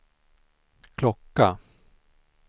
klocka